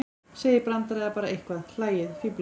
Segið brandara eða bara eitthvað, hlæið, fíflist.